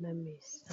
na mesa.